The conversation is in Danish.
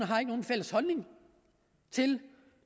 fælles holdning til